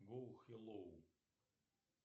гоу хеллоу